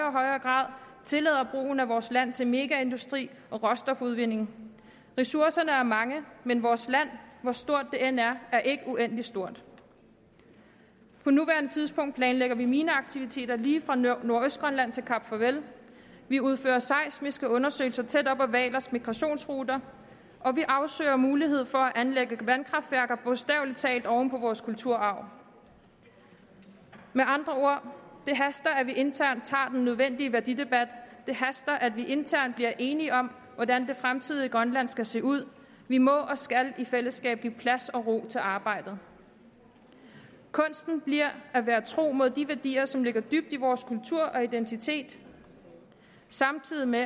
og højere grad tillader brugen af vores land til megaindustri og råstofudvinding ressourcerne er mange men vores land hvor stort det end er er ikke uendelig stort på nuværende tidspunkt planlægger vi mineaktiviteter lige fra nordøstgrønland til kap farvel vi udfører seismiske undersøgelser tæt op ad hvalers migrationsruter og vi afsøger muligheder for at anlægge vandkraftværker bogstaveligt talt oven på vores kulturarv med andre ord det haster at vi internt tager den nødvendige værdidebat det haster at vi internt bliver enige om hvordan det fremtidige grønland skal se ud vi må og skal i fællesskab give plads og ro til arbejdet kunsten bliver at være tro mod de værdier som ligger dybt i vores kultur og identitet samtidig med